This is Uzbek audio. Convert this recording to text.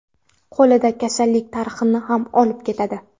Qo‘lida kasallik tarixini ham olib ketadi.